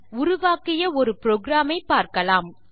உருவாக்கிய ஒரு புரோகிராம் ஐ பார்க்கலாம்